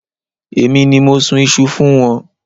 Èmi ni mo sun iṣu fún wọn.